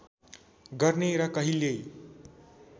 गर्ने र कहिल्यै